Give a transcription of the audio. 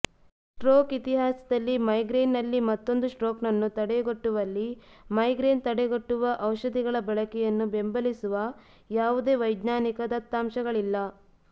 stroke ಇತಿಹಾಸದಲ್ಲಿ migraine ನಲ್ಲಿ ಮತ್ತೊಂದು ಸ್ಟ್ರೋಕ್ನ್ನು ತಡೆಗಟ್ಟುವಲ್ಲಿ ಮೈಗ್ರೇನ್ ತಡೆಗಟ್ಟುವ ಔಷಧಿಗಳ ಬಳಕೆಯನ್ನು ಬೆಂಬಲಿಸುವ ಯಾವುದೇ ವೈಜ್ಞಾನಿಕ ದತ್ತಾಂಶಗಳಿಲ್ಲ